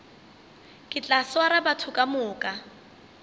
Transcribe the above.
ke tla swara batho kamoka